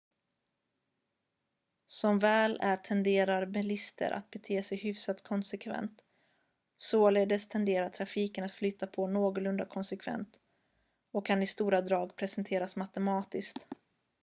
som väl är tenderar bilister att bete sig hyfsat konsekvent således tenderar trafiken att flyta på någorlunda konsekvent och kan i stora drag presenteras matematiskt